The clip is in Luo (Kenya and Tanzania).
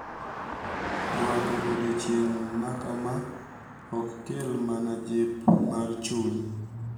Rwako odiechieng' makama ok kel mana jip mar chuny,